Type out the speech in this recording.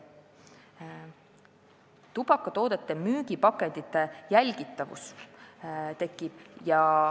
Tekib tubakatoodete müügipakendite jälgitavus.